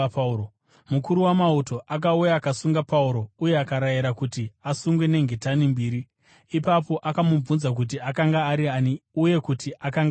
Mukuru wamauto akauya akasunga Pauro uye akarayira kuti asungwe nengetani mbiri. Ipapo akamubvunza kuti akanga ari ani uye kuti akanga aitei.